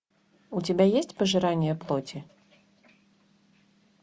у тебя есть пожирание плоти